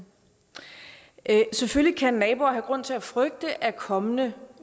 selvfølgelig kan naboer have grund til at frygte at kommende